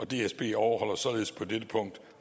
dsb overholder således på dette punkt